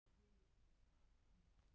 hverjir eru stærstu jarðskjálftar heims